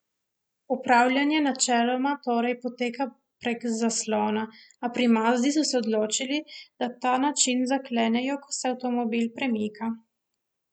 Upravljanje načeloma, torej, poteka prek zaslona, a pri Mazdi so se odločili, da ta način zaklenejo, ko se avtomobil premika.